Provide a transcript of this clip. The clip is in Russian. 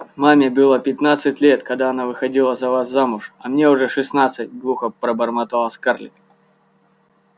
маме было пятнадцать лет когда она выходила за вас замуж а мне уже шестнадцать глухо пробормотала скарлетт